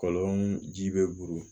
Kɔlɔn ji bɛ buru